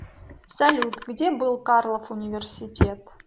салют где был карлов университет